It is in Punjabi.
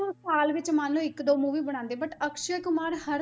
ਸਾਲ ਵਿੱਚ ਮੰਨ ਲਓ ਇੱਕ ਦੋ movie ਬਣਾਉਂਦੇ ਹੈ but ਅਕਸ਼ੇ ਕੁਮਾਰ ਹਰ